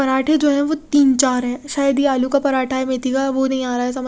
पराठे जो है वो तिन चार है शायद ये आलू का पराठा है मेथी का वो नही आरा समझ--